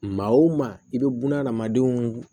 Maa wo maa i be buna hadamadenw